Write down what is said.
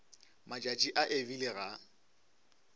matšatši a e bile ga